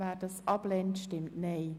Wer diesen ablehnt, stimmt Nein.